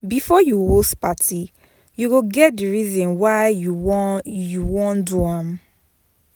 Before you host parti you go get the reason why you won you won do am